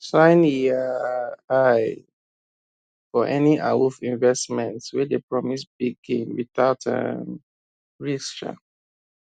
shine um eye for any awoof investment wey dey promise big gain without um risk um